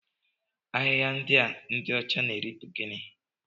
Ahịhịa ndị a ndị ọcha na-eri bụ gịnị?